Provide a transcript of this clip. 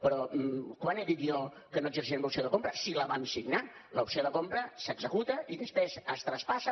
però quan he dit jo que no exerciríem l’opció de compra si la vam signar l’opció de compra s’executa i després es traspassa